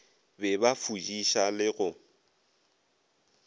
be ba fudiša le go